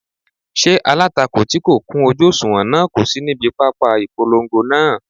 Ṣé alátakò tí kò kún ojú òṣùwọ̀n náà kò sí níbi pápá ìpolongo náà?